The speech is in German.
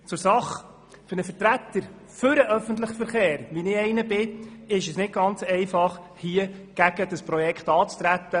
Zur Sache: Für einen Vertreter für den öffentlichen Verkehr, wie ich einer bin, ist es nicht ganz einfach, gegen dieses Projekt anzutreten.